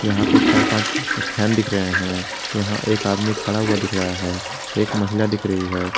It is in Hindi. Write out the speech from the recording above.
यहां पर चार पांच फैन दिख रहे हैं यहां एक आदमी खड़ा हुआ दिख रहा है एक महिला दिख रही है।